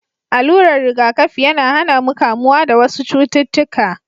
Alurar riga kafi yAna hAna mu kamuwa da wasu cututtuƙa